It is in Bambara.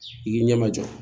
I k'i ɲɛma jɔ